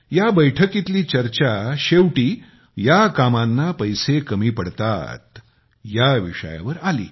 या बैठकीतील चर्चा शेवटी या कामांना पैसे कमी पडतात ह्या विषयावर आली